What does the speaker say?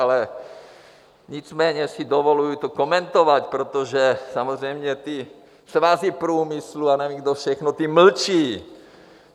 Ale nicméně si dovoluji to komentovat, protože samozřejmě ty svazy průmyslu a nevím, kdo všechno, ty mlčí.